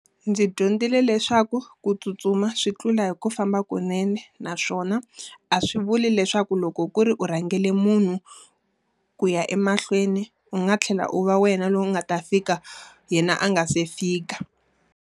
Ndzi dyondzile leswaku ku tsutsuma swi tlula hi ku famba kunene. Naswona a swi vuli leswaku loko ku ri u rhangela munhu, ku ya emahlweni u nga tlhela u va wena loyi u nga ta fika yena a nga se fika.